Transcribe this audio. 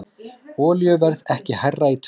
Olíuverð ekki hærra í tvö ár